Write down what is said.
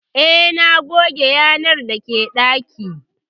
Eh, na goge yanar dake dakin